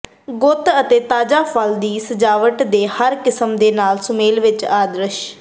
ਗੁੱਤ ਅਤੇ ਤਾਜ਼ਾ ਫੁੱਲ ਦੀ ਸਜਾਵਟ ਦੇ ਹਰ ਕਿਸਮ ਦੇ ਨਾਲ ਸੁਮੇਲ ਵਿੱਚ ਆਦਰਸ਼